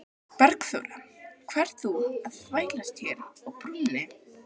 Bergþóra, hvað ert þú að þvælast hér á brúnni?